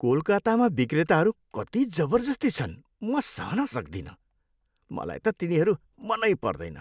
कोलकातामा विक्रेताहरू कति जबर्जस्ती छन्, म सहन सक्दिनँ। मलाई त तिनीहरू मनै पर्दैन।